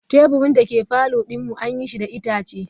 Teburin dake parlour din mu an yi shi da itace.